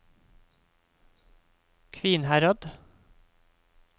Kvinnherad